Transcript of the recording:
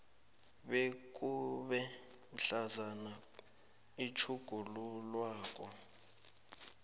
bekube mhlazana itjhugululwako